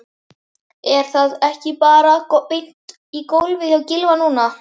Er það ekki bara beint í golfið hjá Gylfa núna?